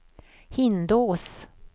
Hindås